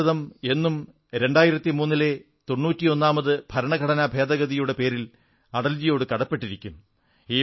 ഭാരതം എന്നും 2003 ലെ തൊണ്ണൂറ്റി ഒന്നാം ഭരണഘടനാഭേദഗതിയുടെ പേരിൽ അടൽജിയോടു കടപ്പെട്ടിരിക്കും